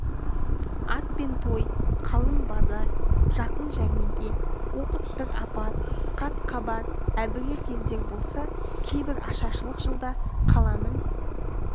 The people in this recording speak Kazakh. ат пен той қалың базар жақын жәрмеңке оқыс бір апат қат-қабат әбігер кездер болса кейбір ашаршылық жылда қаланың